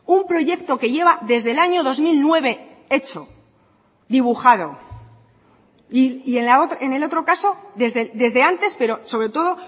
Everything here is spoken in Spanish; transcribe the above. un proyecto que lleva desde el año dos mil nueve hecho dibujado y en el otro caso desde antes pero sobre todo